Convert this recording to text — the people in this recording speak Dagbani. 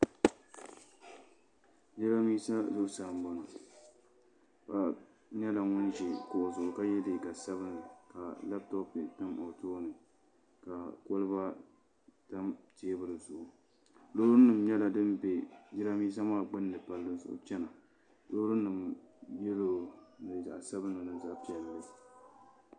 Jiranbiisa zuɣusaa n boŋo paɣa nyɛla ŋun ʒi kuɣu zuɣu ka yɛ liiga sabinli ka labtop tam o tooni ka kolba tam teebuli zuɣu loori nim nyɛla din bɛ jiranbiisa maa gbuni palli zuɣu chɛna loorinima ŋo nyɛla zaɣ sabinli ni zaɣ piɛlli